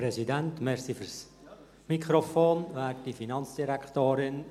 Danke für das Mikrofon, Herr Präsident.